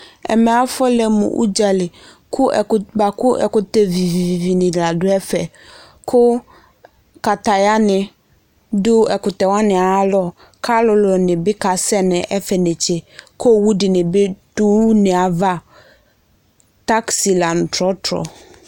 Ɛmɛ afʋɔlɛ mʋ adzali kʋ bua kʋ ɛkʋtɛ vivivi ni la dʋ ɛfɛ, kʋ katayani dʋ ɛkʋtɛwani ayalɔ, k'alʋlʋni bi kasɛ n'ɛfɛnetse, k'owu dini bi dʋ une yɛ ava: taxiy la nʋ tɔtrɔ